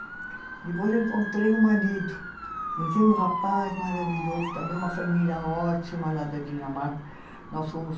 Depois eu encontrei um marido, conheci um rapaz maravilhoso, também uma família ótima lá da Dinamarca. Nós fomos